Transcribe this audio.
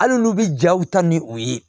Hali n'olu bi jaw ta ni u ye